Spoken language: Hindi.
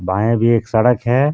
बाए भी एक सडक है.